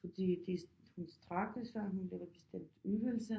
Fordi det hun strækker sig hun laver bestemt øvelser